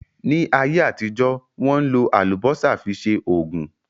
Ní ayé àtijọ́, Wọ́n ń lò Àlùbọ́sà fi ṣe Ògùn